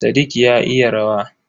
Sadiq ya iya rawa.